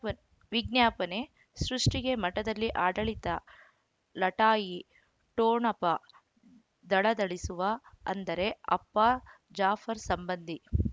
ವ್ ವಿಜ್ಞಾಪನೆ ಸೃಷ್ಟಿಗೆ ಮಠದಲ್ಲಿ ಆಡಳಿತ ಲಢಾಯಿ ಠೊಣಪ ದಳದಳಿಸುವ ಅಂದರೆ ಅಪ್ಪ ಜಾಫರ್ ಸಂಬಂಧಿ